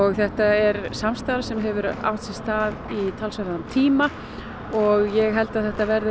þetta er samstarf sem hefur átt sér stað í talsverðan tíma og ég held að þetta verði